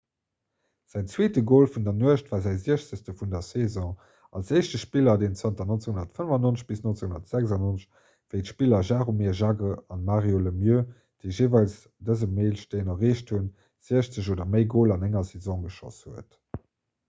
säin zweete gol vun der nuecht war säi 60 vun der saison als éischte spiller deen zanter 1995 - 1996 wéi d'spiller jaromir jagr an mario lemieux déi jeeweils dëse meilesteen erreecht hunn 60 oder méi goler an enger saison geschoss huet